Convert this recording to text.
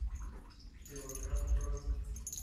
велоград бронь